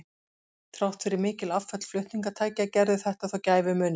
Þrátt fyrir mikil afföll flutningatækja gerði þetta þó gæfumuninn.